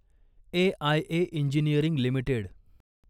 AIA engineering limited